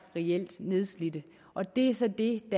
nedslidte og det er så det